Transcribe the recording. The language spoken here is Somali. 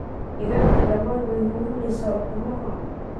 Digagta damaan way xuurineysa ukumaxa.